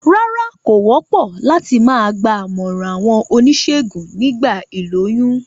Rárá, kò wópò láti ma gba àmòràn àwon onísègùn nígba ìlóyún